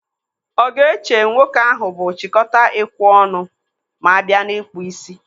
Ọ ga-eche nwoke ahụ bụ chịkọta ekwe ọnụ ma abịa n'ịkpụ ísí?